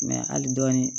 hali dɔɔnin